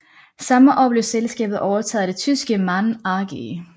Samme år blev selskabet overtaget af det tyske MAN AG